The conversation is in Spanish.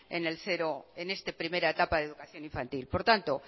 en esta primera etapa de educación infantil por tanto